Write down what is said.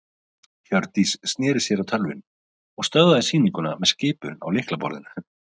Hjördís sneri sér að tölvunni og stöðvaði sýninguna með skipun á lyklaborðinu.